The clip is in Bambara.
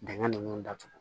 Dingɛn nunnu datugu